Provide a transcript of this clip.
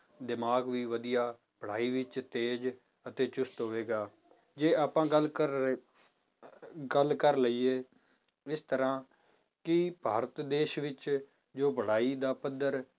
ਦਿਮਾਗ ਵੀ ਵਧੀਆ, ਪੜ੍ਹਾਈ ਵਿੱਚ ਤੇਜ਼ ਅਤੇ ਚੁਸ਼ਤ ਹੋਵੇਗਾ, ਜੇ ਆਪਾਂ ਗੱਲ ਕਰ ਰਹੇ ਗੱਲ ਕਰ ਲਈਏ ਇਸ ਤਰ੍ਹਾਂ ਕੀ ਭਾਰਤ ਦੇਸ ਵਿੱਚ ਜੋ ਪੜ੍ਹਾਈ ਦਾ ਪੱਧਰ